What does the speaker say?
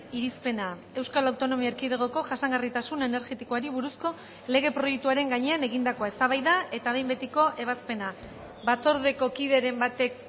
irizpena euskal autonomia erkidegoko jasangarritasun energetikoari buruzko lege proiektuaren gainean egindakoa eztabaida eta behin betiko ebazpena batzordeko kideren batek